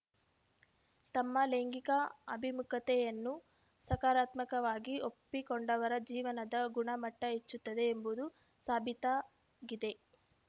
ತಮ್ಮ ಲೈಂಗಿಕ ಅಭಿಮುಖತೆಯನ್ನು ಸಕಾರಾತ್ಮಕವಾಗಿ ಒಪ್ಪಿಕೊಂಡವರ ಜೀವನದ ಗುಣಮಟ್ಟಹೆಚ್ಚುತ್ತದೆ ಎಂಬುದೂ ಸಾಬೀತಾಗಿದೆ